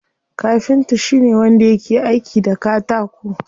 Kafinta shine wanda yake aiki da katako.